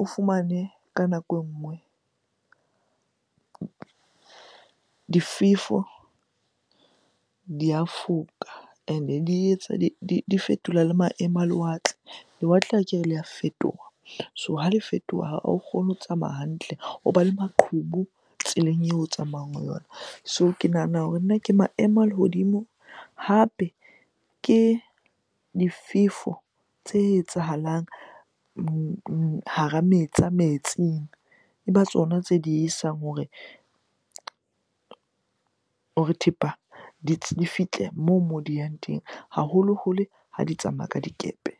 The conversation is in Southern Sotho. O fumane ka nako e nngwe difefo di a foka and-e di etsa, di fetola le maemo a lewatle. Lewatle akere le a fetoha, so ha le fetoha ha o kgone ho tsamaya hantle. Hoba le maqhubu tseleng eo o tsamayang ho yona. So ke nahana hore nna ke maemo a lehodimo hape ke difefo tse etsahalang hara metsi, tsa metsing. E ba tsona tse diehisang hore hore thepa di fihle moo di yang teng haholoholo ha di tsamaya ka dikepe.